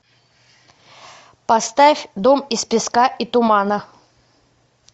поставь дом из песка и тумана